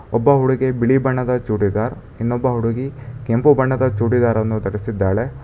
ಒಬ್ಬ ಹುಡುಗಿ ಬಿಳಿ ಬಣ್ಣದ ಚೂಡಿದಾರ್ ಇನ್ನೊಬ್ಬ ಹುಡುಗಿ ಕೆಂಪು ಬಣ್ಣದ ಚೂಡಿದಾರ್ ಅನ್ನು ಧರಿಸಿದ್ದಾಳೆ.